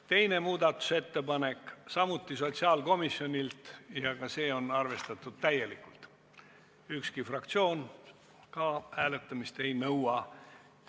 Teine muudatusettepanek on samuti sotsiaalkomisjonilt ja ka see on arvestatud täielikult, ükski fraktsioon hääletamist ei nõua.